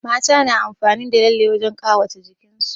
Mata na amfani da lalle wurin ƙawata jikin su